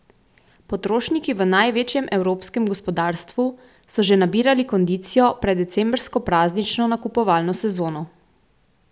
Potrošniki v največjem evropskem gospodarstvu so že nabirali kondicijo pred decembrsko praznično nakupovalno sezono.